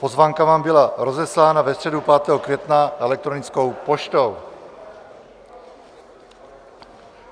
Pozvánka vám byla rozeslána ve středu 5. května elektronickou poštou.